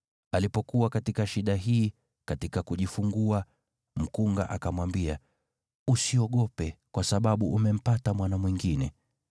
Alipokuwa katika shida hii katika kujifungua, mkunga akamwambia, “Usiogope, kwa sababu umempata mwana mwingine.”